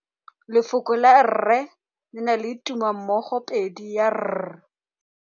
Lefoko la rre le na le tumammogôpedi ya, r.